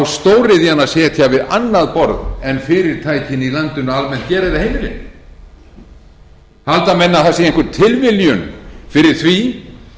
á stóriðjan að sitja við annað borð en fyrirtækin í landinu almennt gera eða heimilin halda menn að það sé einhver tilviljun fyrir því